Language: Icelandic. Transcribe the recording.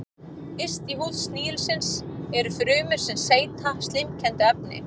Yst í húð snigilsins eru frumur sem seyta slímkenndu efni.